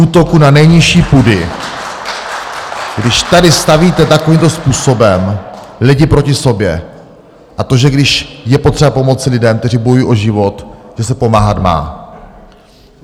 Útoku na nejnižší pudy , když tady stavíte takovýmto způsobem lidi proti sobě, a to, že když je potřeba pomoci lidem, kteří bojují o život, že se pomáhat má.